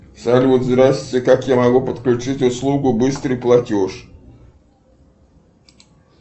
салют здрасте как я могу подключить услугу быстрый платеж